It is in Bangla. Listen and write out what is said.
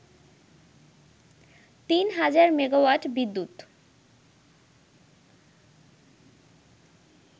তিন হাজার মেগাওয়াট বিদ্যুৎ